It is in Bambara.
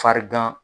Farigan